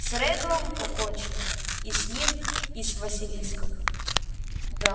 с реддлом покончено и с ним и с василиском да